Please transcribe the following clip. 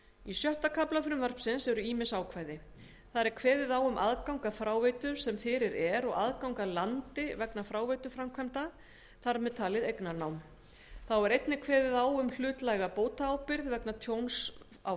í sjötta kafla frumvarpsins eru ýmis ákvæði þar er kveðið á um aðgang að fráveitu sem fyrir er og aðgang að landi vegna fráveituframkvæmda þar með talin eignarnám þá er einnig kveðið á um hlutlæga bótaábyrgð vegna tjóns á